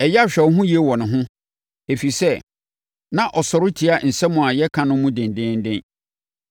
Ɛyɛ a hwɛ wo ho yie wɔ ne ho, ɛfiri sɛ, na ɔsɔre tia nsɛm a yɛka no mu dendeenden.